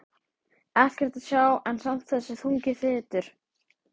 Ekkert að sjá en samt þessi þungi þytur.